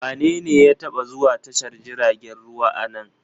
Wanene ya taba zuwa tashar jiragen ruwa a nan?